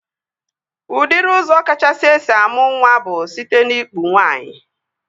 Udiri ụzọ kachasị esi amụ nwa bụ site n'ikpu nwaanyị